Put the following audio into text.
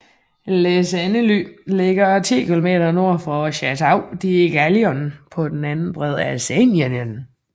Les Andelys ligger 10 km nord for Château de Gaiillon på den anden bred af Seinen